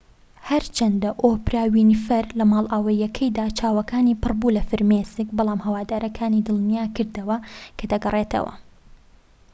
هەرچەندە ئۆپرا وینفری لە ماڵئاواییەکەیدا چاوەکانی پڕبوو لە فرمێسک بەڵام هەوادارەکانی دڵنیاکردەوە کە دەگەڕێتەوە